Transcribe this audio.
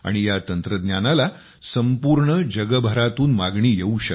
या तंत्रज्ञानाला संपूर्ण जगभरातून मागणी येवू शकते